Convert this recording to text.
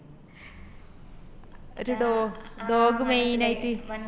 ഒര് dog main ആയിറ്റ്‌